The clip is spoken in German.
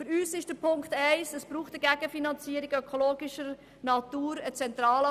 Für uns ist der erste Punkt, dass es eine Gegenfinanzierung ökologischer Natur braucht.